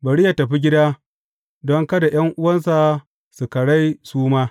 Bari yă tafi gida don kada ’yan’uwansa su karai su ma.